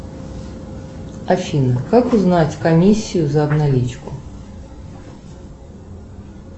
афина как узнать комиссию за обналичку